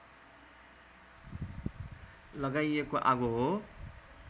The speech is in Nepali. लगाइएको आगो हो